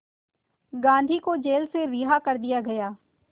गांधी को जेल से रिहा कर दिया गया